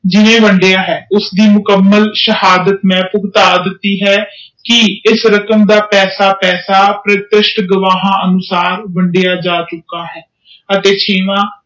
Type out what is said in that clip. ਜਿੰਨੇ ਵੜਿਆ ਆ ਉਸਦੇ ਮੁਕੰਮਲ ਮੈਂ ਸੇਹਦਾਮ ਭੁਗਤਾ ਦਿਤੀ ਹੈ ਕਿ ਇਸ ਰਕਮ ਦਾ ਮੈਂ ਪੈਸੇ ਪੈਸੇ ਸਪਸ਼ਟ ਗਵਾਹ ਅਨੁਸਾਰ ਵੱਡਾ ਜਾ ਚੁਕਾ ਹੈ